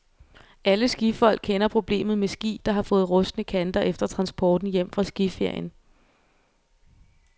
Alle skifolk kender problemet med ski, der har fået rustne kanter efter transporten hjem fra skiferien.